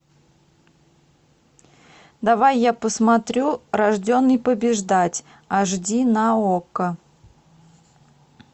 давай я посмотрю рожденный побеждать аш ди на окко